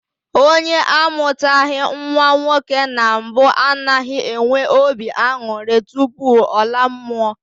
Onye amụtaghị nnwa nwoke na mbụ anaghị enwe obi aṅụrị tupu ọ laa mmụọ